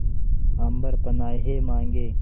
अम्बर पनाहे मांगे